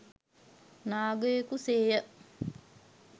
නාගයකු සේ ය.